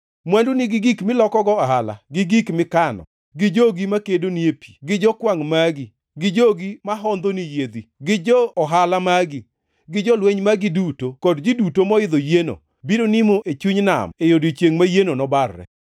Mwanduni gi gik milokogo ohala, gi gik mikano; gi jogi makedoni e pi, gi jokwangʼ magi, gi jogi mahondhoni yiedhi; gi jo-ohala magi, gi jolweny magi duto kod ji duto moidho yieno, biro nimo e chuny nam e odiechiengʼ ma yieno nobarre.